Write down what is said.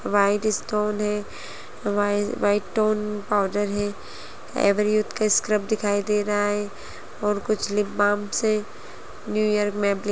white stone है वाइज white tone powder है एवरयूथ का स्क्रब दिखाई दे रहा है और कुछ लीपबाम्स है न्यू ईयर में--